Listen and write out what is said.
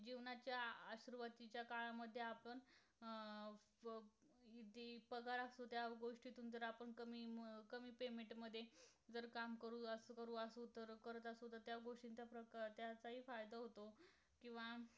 किंवा